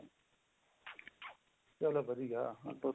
ਚਲੋ ਵਧੀਆ